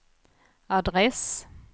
adress